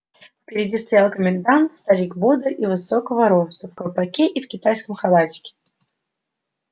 впереди стоял комендант старик бодрый и высокого росту в колпаке и в китайском халатике